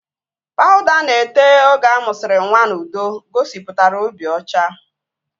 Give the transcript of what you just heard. Pawuda a na-ete oge amụsiri nwa n'udo gosipụtara obi ọcha